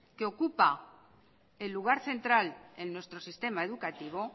que ocupa el lugar central en nuestro sistema educativo